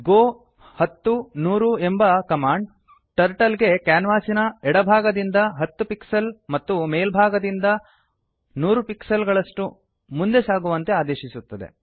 ಗೋ 10100 ಎಂಬ command turtle ಗೆ ಕ್ಯಾನ್ವಾಸಿನ ಎಡಭಾಗದಿಂದ 10 ಪಿಕ್ಸೆಲ್ಸ್ ಮತ್ತು ಮೇಲ್ಭಾಗದಿಂದ 100 ಪಿಕ್ಸೆಲ್ಸ್ ಗಳಷ್ಟು ಮುಂದೆ ಸಾಗುವಂತೆ ಆದೇಶಿಸುತ್ತದೆ